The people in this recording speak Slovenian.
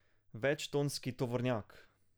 Večtonski tovornjak.